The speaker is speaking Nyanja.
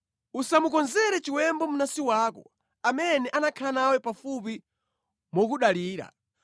Usamukonzere chiwembu mnansi wako, amene anakhala nawe pafupi mokudalira.